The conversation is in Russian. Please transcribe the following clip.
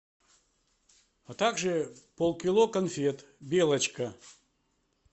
а так же полкило конфет белочка